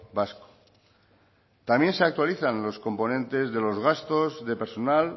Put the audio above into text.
vasco también se actualizan los componentes de los gastos de personal